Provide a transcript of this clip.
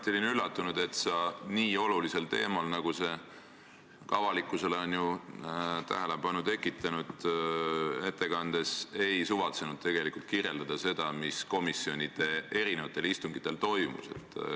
Olin mõneti üllatunud, et kui sa pidasid ettekannet nii olulisel teemal, mis on ju ka avalikkuses tähelepanu tekitanud, siis sa ei suvatsenud kirjeldada seda, mis komisjoni istungitel toimus.